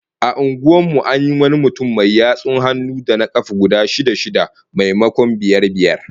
A unguwar mu an yi wani mutum mai yatsun hannu da kafa guda shida-shida, maimakon biyar biyar